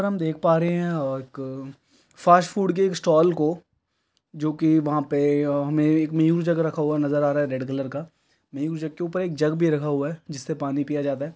और हम देख पा रहे हैं| एक फ़ास्ट फ़ूड के एक स्टाल को जोकि वहाँ पे हमें एक न्यू जग रखा हुआ नज़र आ रहा है जोकि रेड कलर का न्यू जग के उपर एक जग भी रखा हुआ है जिससे पानी पीया जाता है।